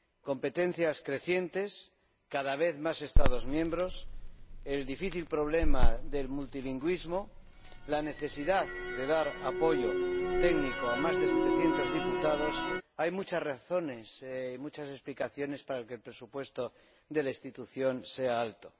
Competencias crecientes, cada vez más Estados miembros, el difícil problema del multilingüismo, la necesidad de dar apoyo técnico a más de 700 diputados hay muchas explicaciones para que el presupuesto de la institución sea elevado.